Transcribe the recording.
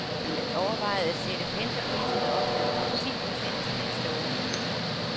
Man overvejede at sætte pendlerpriserne op med omkring ti procent til næste år.